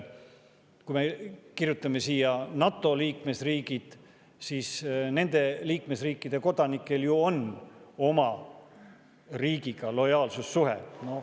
Kui me kirjutame siia NATO liikmesriigid, siis nende liikmesriikide kodanikel on ju oma riigiga lojaalsussuhe.